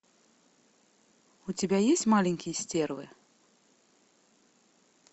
у тебя есть маленькие стервы